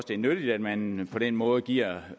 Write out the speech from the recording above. det er nyttigt at man på den måde giver